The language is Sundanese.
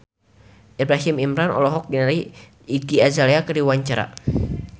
Ibrahim Imran olohok ningali Iggy Azalea keur diwawancara